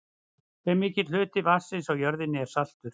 hve mikill hluti vatnsins á jörðinni er saltur